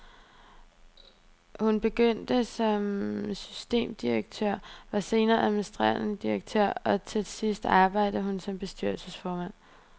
Hun begyndte som systemdirektør, var senere administrerende direktør og til sidst arbejdende hun som bestyrelsesformand.